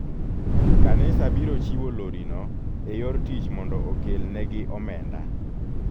Kanisa biro chiwo lori no e yor tich mondo okel ne gi omenda.